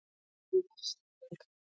Enda allt í kring.